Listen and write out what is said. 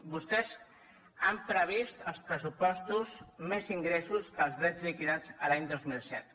vostès han previst als pressupostos més ingressos que els drets liquidats l’any dos mil set